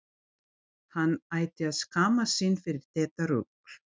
Hann ætti að skammast sín fyrir þetta rugl!